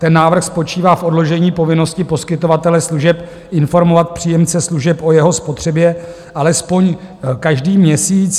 Ten návrh spočívá v odložení povinnosti poskytovatele služeb informovat příjemce služeb o jeho spotřebě alespoň každý měsíc.